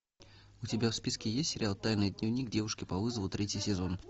у тебя в списке есть сериал тайный дневник девушки по вызову третий сезон